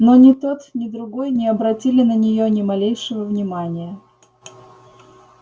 но ни тот ни другой не обратили на нее ни малейшего внимания